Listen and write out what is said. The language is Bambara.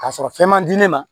Ka sɔrɔ fɛn man di ne ma